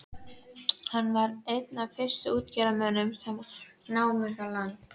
Hann var einn af fyrstu útgerðarmönnunum sem þar námu land.